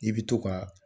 I bɛ to ka